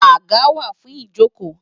Àga wà fún ìjókòó